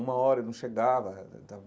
Uma hora e não chegava.